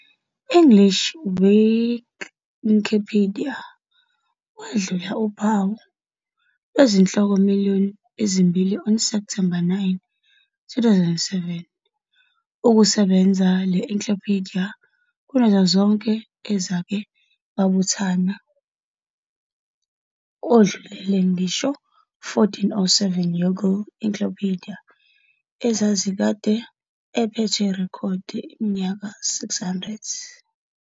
English Wikipedia wadlula uphawu lwezihloko million ezimbili on September 9, 2007, okusenza le encyclopedia kunazo zonke ezake babuthana, odlulele ngisho 1407 Yongle Encyclopedia, ezazikade aphethwe irekhodi iminyaka 600.